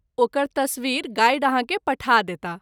ओकर तस्वीर गाइड आहाँ के पठा देताह।